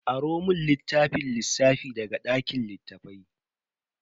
Aro mun littafin lissafi daga dakin littafai.